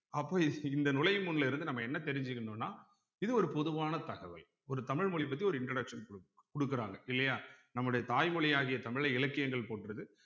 அப்போ இந்த நுழையும் முன்ல இருந்து நம்ம என்ன தெரிஞ்சுக்கணும்ன்னா இது ஒரு பொதுவான தகவல். ஒரு தமிழ் மொழி பத்தி ஒரு introduction குடுக் குடுக்குறாங்க இல்லையா நம்முடைய தாய்மொழியாகிய தமிழை இலக்கியங்கள் போற்றுது